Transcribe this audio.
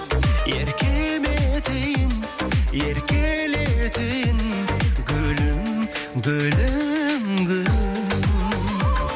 еркем етейін еркелетейін гүлім гүлім гүлім